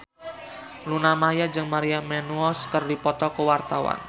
Luna Maya jeung Maria Menounos keur dipoto ku wartawan